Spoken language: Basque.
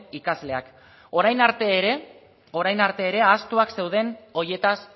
ikasleak orain arte ere ahaztuak zeuden horietaz